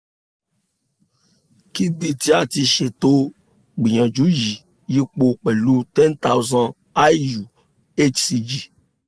ki bi ti a ti ṣeto gbiyanju yi iyipo pẹlu 10000iu hcg